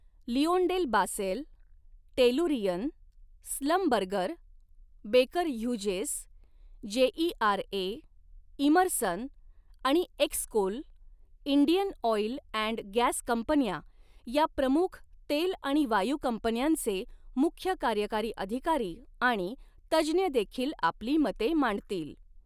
Lyondell Basell, Tellurian, Schlumberger, Baker Hughes, JERA, Emerson आणि X Coal, Indian Oil and gas कंपन्या या प्रमुख तेल आणि वायू कंपन्यांचे मुख्य कार्यकारी अधिकारी आणि तज्ज्ञदेखील आपली मते मांडतील.